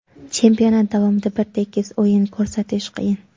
Chempionat davomida bir tekis o‘yin ko‘rsatish qiyin.